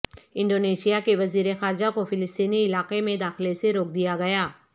Indonesia کے وزیر خارجہ کو فلسطینی علاقے میں داخلے سے روک دیا گیا